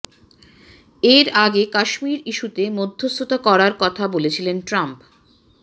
এর আগে কাশ্মীর ইস্যুতে মধ্যস্থতা করার কথা বলেছিলেন ট্রাম্প